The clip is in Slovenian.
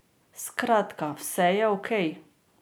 Skratka, vse je okej.